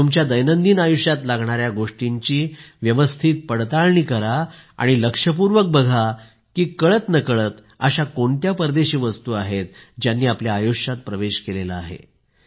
तुमच्या दैनंदिन आयुष्यात लागणाऱ्या गोष्टींची व्यवस्थित पडताळणी करा आणि लक्षपूर्वक बघा की कळतनकळत अशा कोणत्या परदेशी वस्तू आहेत ज्यांनी आपल्या आयुष्यात प्रवेश केला आहे